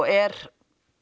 er